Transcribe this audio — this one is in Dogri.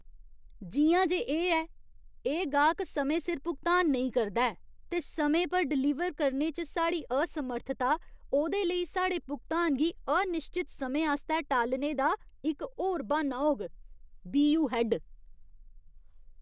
जि'यां जे एह् ऐ, एह् गाह्क समें सिर भुगतान नेईं करदा ऐ ते समें पर डलीवर करने च साढ़ी असमर्थता ओह्दे लेई साढ़े भुगतान गी अनिश्चत समें आस्तै टालने दा इक होर ब्हान्ना होग। बी.यू. हैड्ड